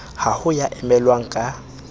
ha ho ya emellwang ka